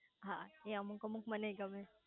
હા એ અમુક અમુક મનેય ગમે